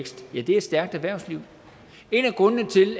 med